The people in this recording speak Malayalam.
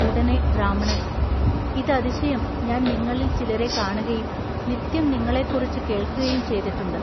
ഉടനെ ബ്രാഹ്മണൻ! ഇതതിശയം ഞാൻ നിങ്ങളിൽ ചിലരെ കാണുകയും നിത്യം നിങ്ങളെക്കുറിച്ച് കേൾക്കയും ചെയ്തിട്ടുണ്ട്‌.